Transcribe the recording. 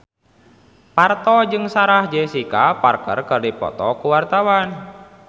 Parto jeung Sarah Jessica Parker keur dipoto ku wartawan